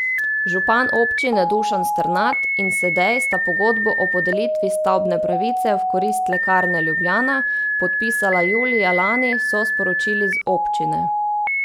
Župan občine Dušan Strnad in Sedej sta pogodbo o podelitvi stavbne pravice v korist Lekarne Ljubljana podpisala julija lani, so sporočili z občine.